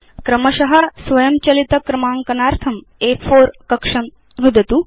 क्रमश स्वयंचलित क्रमाङ्कनार्थं अ4 कक्षं नुदतु